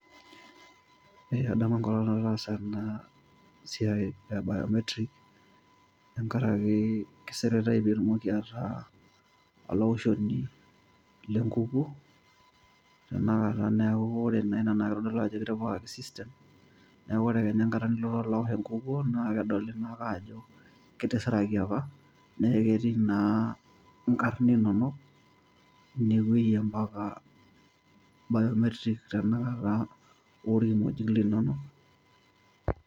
Ee adamu enkolong nataasa ena siai e biometric tenkaraki kisiritai pee itumoki ataa olaoshoni lenkukuo tenakata neeku naa ore ina naa keitodolu ajo kitipikaki system neeku kenya enkata nilo naa awosh enkukuo naa kedoli naa ake ajo kitisiraki apa neeku ketii naa nkarn inono inewueji biometric mpaka naa olkimojik linono.